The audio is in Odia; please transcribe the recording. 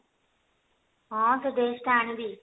ହଁ ସେ dress ଟା ଆଣିବି